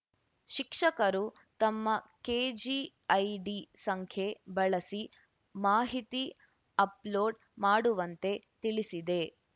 ಶಿಕ್ಷಕರು ತಮ್ಮ ಕೆಜಿಐಡಿ ಸಂಖ್ಯೆ ಬಳಸಿ ಮಾಹಿತಿ ಅಪ್‌ಲೋಡ್‌ ಮಾಡುವಂತೆ ತಿಳಿಸಿದೆ